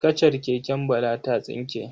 Kacar keken Bala ta tsinke.